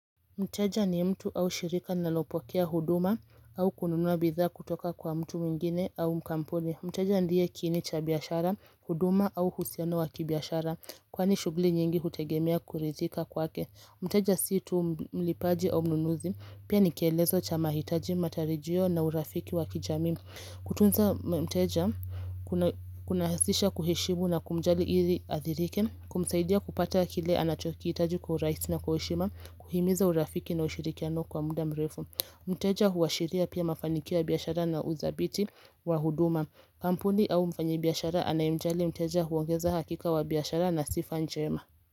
Mteja ni mtu au shirika linalopokea huduma au kununua bidhaa kutoka kwa mtu mwingine au kampuni. Mteja ndiye kiini cha biashara, huduma au uhusiano wa kibiashara. Kwani shughuli nyingi hutegemea kuridhika kwake. Mteja si tu mlipaji au mnunuzi. Pia ni kielezo cha mahitaji, matarijio na urafiki wa kijamii. Kutunza mteja kuna hasisha kuheshimu na kumjali ili athirike. Kumsaidia kupata kile anachokihitaji kwa urahisi na kwa heshima. Kuhimiza urafiki na ushirikino kwa muda mrefu Mteja huwashiria pia mafanikio ya biashara na udhabiti wa huduma Kampuni au mfanyi biashara anayemjali mteja huongeza hakika wa biashara na sifa njema.